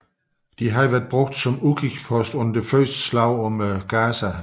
Den havde været brugt som udkigspost under det første slag om Gaza